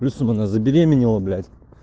плюсом она забеременела блять